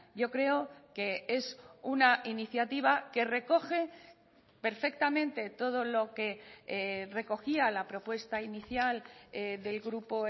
yo creo que es una iniciativa que recoge perfectamente todo lo que recogía la propuesta inicial del grupo